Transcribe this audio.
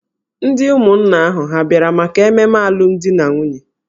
Ndị ụmụnna ahụ hà abịara maka ememe alụmdi na nwunye?